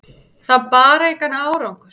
Það bar engan árangur.